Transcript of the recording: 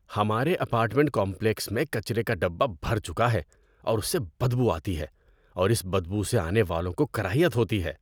ہمارے apartment complex میں کچرے کا ڈبہ بھر چکا ہے اور اس سے بدبو آتی ہے اور اس بدبو سے آنے والوں کو کراہیت ہوتی ہے۔